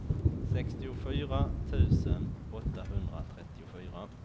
sextiofyra tusen åttahundratrettiofyra